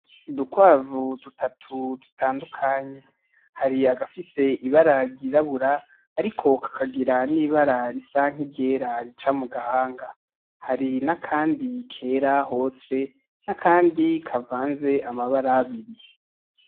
Udukwavu dutatu dutandukanye. Hari agafise ibara ryirabura ariko kakagira n'ibara risa nkiryera rica mu gahanga. Hari n'akandi kera hose n'akandi kavanze amabara abiri.